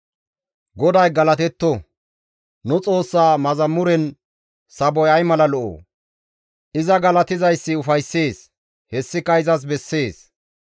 GODAY galatetto! Nu Xoossa mazamuren saboy ay mala lo7o! iza galatizayssi ufayssees; hessika izas bessees.